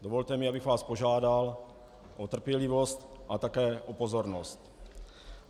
Dovolte mi, abych vás požádal o trpělivost a také o pozornost.